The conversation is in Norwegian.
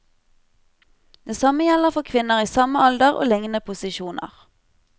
Det samme gjelder for kvinner i samme alder og lignende posisjoner.